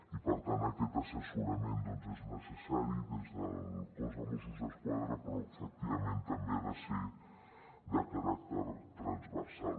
i per tant aquest assessorament doncs és necessari des del cos de mossos d’esquadra però efectivament també ha de ser de caràcter transversal